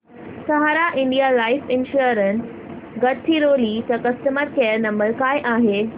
सहारा India life insurance Gadchiroli चा customer care number काय आहे